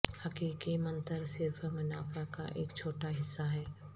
حقیقی منتر صرف منافع کا ایک چھوٹا حصہ ہے